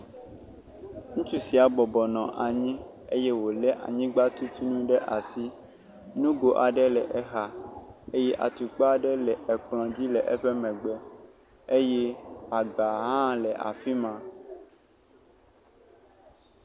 Ŋutsu sia bɔbɔ nɔ anyi ye wòlé anyigbatutunu ɖe asi. Nugo aɖe le exa eye atukpa aɖe le ekplɔ̃dzi le eƒe megbe. Eye agba hã le afi ma.